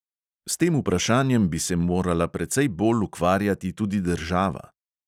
S tem vprašanjem bi se morala precej bolj ukvarjati tudi država.